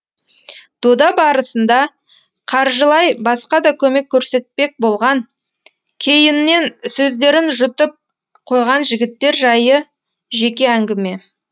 дода барысында қаржылай басқа да көмек көрсетпек болған кейіннен сөздерін жұтып қойған жігіттер жайы жеке әңгіме